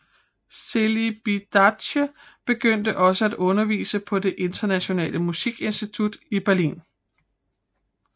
Celibidache begyndte også at undervise på Det Internationale Musikinstitut i Berlin